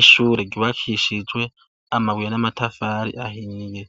Ishure gibakishijwe amabuye n'amatafari ahiye